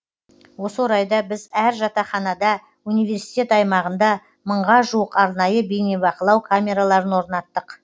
осы орайда біз әр жатақханада университет аймағында мыңға жуық арнайы бейнебақылау камераларын орнаттық